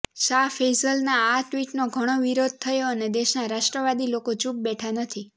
શાહ ફૈસલના આ ટ્વિટનો ઘણો વિરોધ થયો અને દેશના રાષ્ટ્રવાદી લોકો ચુપ બેઠા નથી